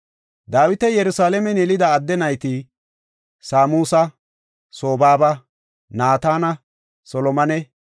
Dawiti Yerusalaamen yelida adde nayti Samuusa, Sobaaba, Naatana, Solomone,